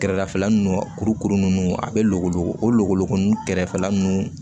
Kɛrɛdafɛla ninnu kurukuru ninnu a bɛ luwolo o logologonin kɛrɛfɛla ninnu